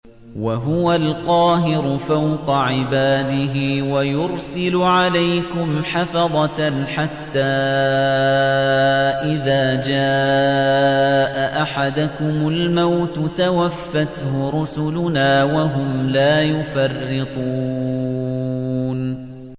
وَهُوَ الْقَاهِرُ فَوْقَ عِبَادِهِ ۖ وَيُرْسِلُ عَلَيْكُمْ حَفَظَةً حَتَّىٰ إِذَا جَاءَ أَحَدَكُمُ الْمَوْتُ تَوَفَّتْهُ رُسُلُنَا وَهُمْ لَا يُفَرِّطُونَ